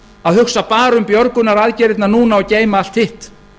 að hugsa bara um björgunaraðgerðirnar núna og geyma allt hitt